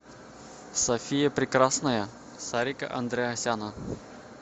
софия прекрасная сарика андреасяна